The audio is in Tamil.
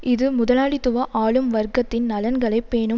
இது முதலாளித்துவ ஆளும் வர்க்கத்தின் நலன்களை பேணும்